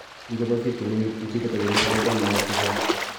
ingoboisien temindet incubator yemache kogeny mayaik chechang.